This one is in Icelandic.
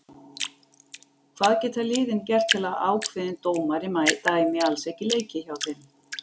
Hvað geta liðin gert til að ákveðin dómari dæmi alls ekki leiki hjá þeim?